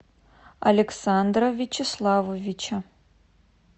александра вячеславовича